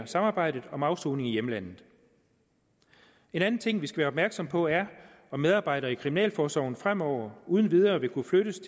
samarbejdet om afsoning i hjemlandet en anden ting vi skal være opmærksom på er om medarbejdere i kriminalforsorgen fremover uden videre vil kunne flyttes